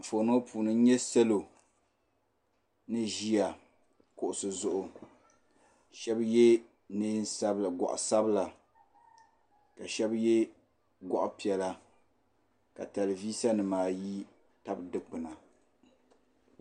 Anfooni ŋɔ puuni n nya salo ni ʒia kuɣusi zuɣu sheba ye goɣa sabila ka sheba ye goɣa piɛla ka telivisa nima ayi tabi dikpina.